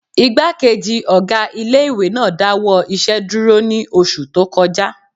Ìgbákejì ọgá ilé-ìwé náà dáwọ́ iṣẹ́ dúró ní oṣù tó kọjá